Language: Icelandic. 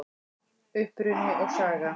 Uppruni og saga